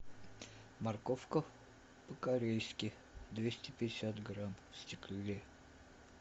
морковка по корейски двести пятьдесят грамм в стекле